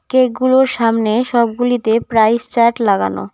Cake -গুলোর সামনে সবগুলিতে প্রাইস চার্ট লাগানো।